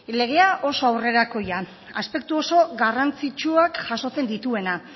legea oso aurrerakoia aspektu oso garrantzitsuak jasotzen dituena